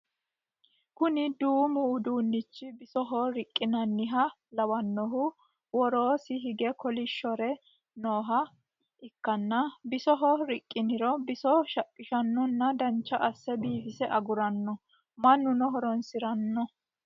Kuni duumu uduunichchi bisoho riqqinanniha lawanohu worosii hige kolishshuri nooha ikkanna bisoho riqqiniro biso shaqiishannona dancha asse biifise aguranno mannuno horonsirona